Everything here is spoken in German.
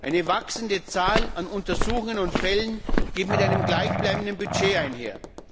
Eine wachsende Zahl an Untersuchungen und Fällen gehen mit einem gleichbleibenden Budget einher.